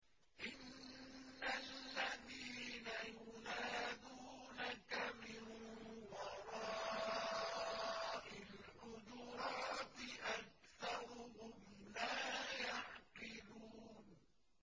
إِنَّ الَّذِينَ يُنَادُونَكَ مِن وَرَاءِ الْحُجُرَاتِ أَكْثَرُهُمْ لَا يَعْقِلُونَ